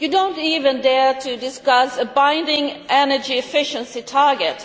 You do not even dare to discuss a binding energy efficiency target.